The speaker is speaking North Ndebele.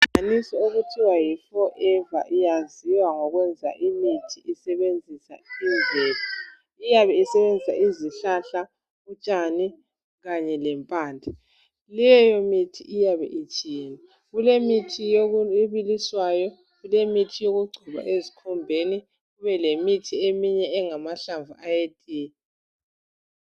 Inhlanganiso okuthiwa yi Forever iyaziwa ngokwenza imithi isebenzisa imvelo. Iyabe isebenzisa izihlahla, utshani kanye lempande. Leyo mithi iyabe itshiyene. Kulemithi ebiliswayo, kulemithi yokugcoba ezikhumbeni kubelemithi eminye engamahlamvu etiye.